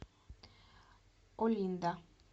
олинда